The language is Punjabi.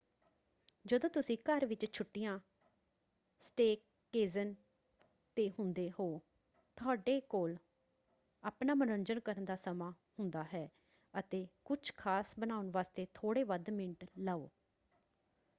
ਜਦੋਂ ਤੁਸੀਂ ਘਰ ਵਿੱਚ ਛੁੱਟੀਆਂਸਟੇਅਕੇਜ਼ਨ ‘ਤੇ ਹੁੰਦੇ ਹੋ ਤੁਹਾਡੇ ਕੋਲ ਆਪਣਾ ਮਨੋਰੰਜਨ ਕਰਨ ਦਾ ਸਮਾਂ ਹੁੰਦਾ ਹੈ ਅਤੇ ਕੁਝ ਖਾਸ ਬਣਾਉਣ ਵਾਸਤੇ ਥੋੜੇ ਵੱਧ ਮਿੰਟ ਲਓ।